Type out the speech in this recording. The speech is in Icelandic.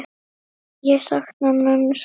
Ég sakna mömmu svo mikið.